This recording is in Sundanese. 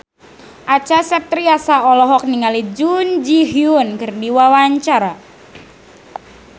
Acha Septriasa olohok ningali Jun Ji Hyun keur diwawancara